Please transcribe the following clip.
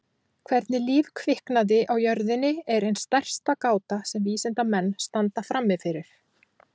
Hvernig líf kviknaði á jörðinni er ein stærsta gáta sem vísindamenn standa frammi fyrir.